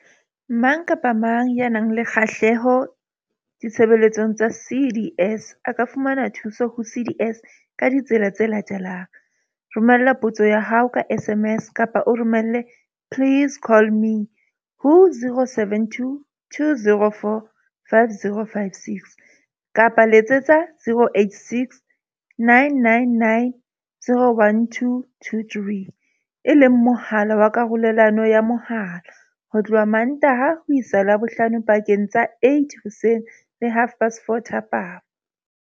Mang kapa mang ya nang le kgahleho ditshebeletsong tsa CDS a ka fumana thuso ho CDS ka ditsela tse latelang. Romela potso ya hao ka SMS kapa o romele please call me, ho 072 204 5056, kapa Letsetsa 086 999 0123, e leng mohala wa karolelano ya mohala, ho tloha Mmantaha ho isa Labohlano pakeng tsa 8,00 hoseng le 4,30 thapama.